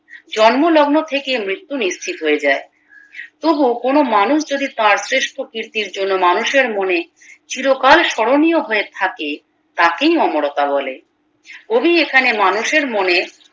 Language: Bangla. জন্মলগ্ন থেকে মৃত্যু নিশ্চিত হয়ে যায় তবু কোনো মানুষ যদি তার শ্রেষ্ঠ কৃর্তির জন্যে মানুষের মনে চিরকাল স্মরণীয় হয়ে থেকে তাকেই অমরতা বলে কবি এখানে মানুষের মনে